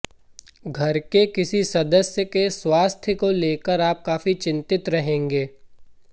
घर के किसी सदस्य के स्वास्थ्य को लेकर आप काफी चिंतित रहेंगे